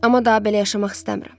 Amma daha belə yaşamaq istəmirəm.